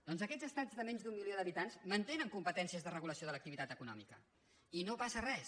doncs aquests estats de menys d’un milió d’habitants mantenen competències de regulació de l’activitat econòmica i no passa res